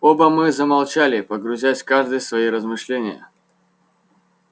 оба мы замолчали погрузясь каждый в свои размышления